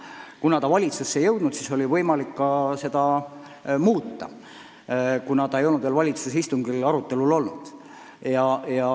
Kuna dokument valitsusse ei jõudnud, siis oli võimalik seda muuta – see ei olnud veel valitsuse istungil arutelul olnud.